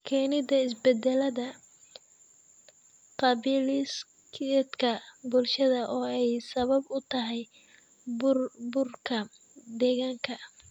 Keenida isbedelada qaabdhismeedka bulshada oo ay sabab u tahay burburka deegaanka.